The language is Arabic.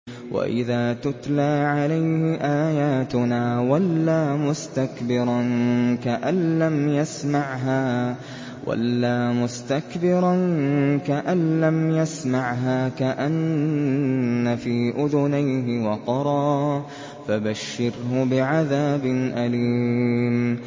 وَإِذَا تُتْلَىٰ عَلَيْهِ آيَاتُنَا وَلَّىٰ مُسْتَكْبِرًا كَأَن لَّمْ يَسْمَعْهَا كَأَنَّ فِي أُذُنَيْهِ وَقْرًا ۖ فَبَشِّرْهُ بِعَذَابٍ أَلِيمٍ